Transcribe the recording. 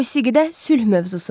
Musiqidə sülh mövzusu.